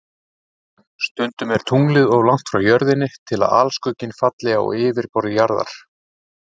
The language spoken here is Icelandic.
Stundum er tunglið of langt frá Jörðinni til að alskugginn falli á yfirborð Jarðar.